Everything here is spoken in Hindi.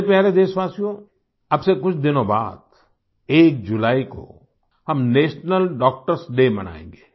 मेरे प्यारे देशवासियों अब से कुछ दिनों बाद 1 जुलाई को हम नेशनल डॉक्टर्स डे मनाएंगे